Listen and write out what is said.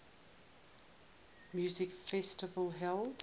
music festival held